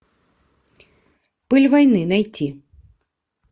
пыль войны найти